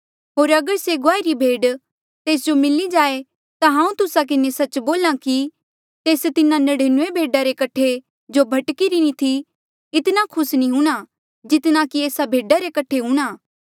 होर अगर से गुआई री भेड तेस जो मिली जाए ता हांऊँ तुस्सा किन्हें सच्च बोल्हा कि तेस तिन्हा नड़िनूऐं भेडा रे कठे जो भटकीरी नी थी इतना खुस नी हूंणां जितना कि एस्सा भेडा रे कठे खुस हूंणां